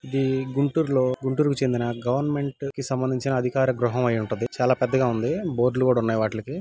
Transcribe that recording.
ఇది గుంటూరు. లో గుంటూరు. కి చెందిన గవర్నమెంట్ కి సంబంధించిన అధికార గృహం అయ్యుంటుంది. చాల పెద్దగా వుంది. బోర్డులు కూడా వున్నాయి వాట్లికి .